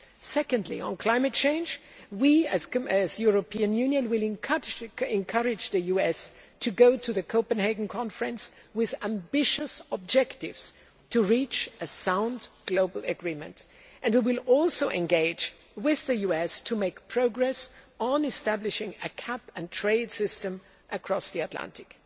Secondly, on climate change, we as the European Union will encourage the US to go to the Copenhagen conference with ambitious objectives to reach a sound global agreement, and we will also engage with the US to make progress on establishing a cap and trade system across the Atlantic.